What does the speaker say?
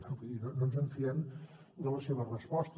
vull dir no ens en fiem de la seva resposta